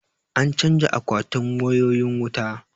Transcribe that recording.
An canja akwatin wayoyin wuta